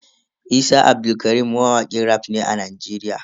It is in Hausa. Isa Abdulkarim mawakin raf ne a Nigeria.